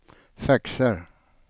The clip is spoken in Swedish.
faxar